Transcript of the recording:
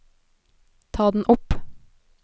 ta den opp